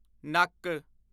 ਨੱਕ